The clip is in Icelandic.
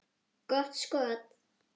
Gott skot.